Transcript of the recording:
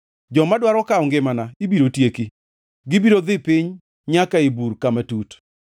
Joma dwaro kawo ngimana ibiro tieki; gibiro dhi piny nyaka ei bur kama tut.